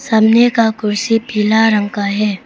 सामने का कुर्सी पीला रंग का है।